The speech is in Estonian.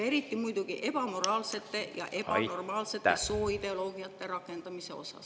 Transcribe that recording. … ja eriti muidugi ebamoraalsete ja ebanormaalsete sooideoloogiate osas?